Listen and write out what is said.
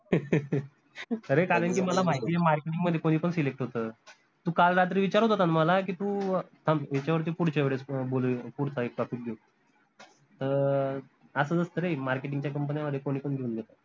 अरे कारन की मला माहितीय marketing मध्ये कोनी पन select होत तू काल रात्री विचारत होता न मला की, तू थांब याच्यावरती पुढच्या वेळेस बोलू पुढचा एक topic घेऊ अं आता जस काय marketing च्या company न्या मध्ये कोनी पन घेऊन घेत